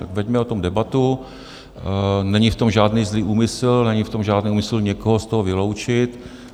Tak veďme o tom debatu, není v tom žádný zlý úmysl, není v tom žádný úmysl někoho z toho vyloučit.